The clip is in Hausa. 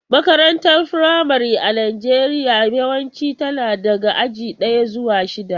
Makarantar firamare a Najeriya yawanci tana daga aji daya zuwa shida.